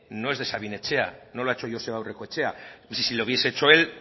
no es de sabin etxea no lo ha hecho joseba aurrekoetxea si lo hubiese hecho el